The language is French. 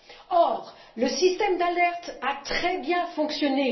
Or, le système d'alerte a très bien fonctionné.